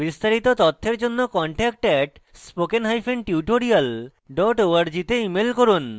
বিস্তারিত তথ্যের জন্য contact @spokentutorial org তে ইমেল করুন